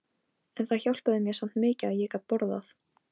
En það hjálpaði mér samt mikið að ég gat borðað.